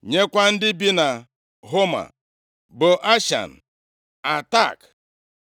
nyekwa ndị bi na Homa, Bo Ashan, Atak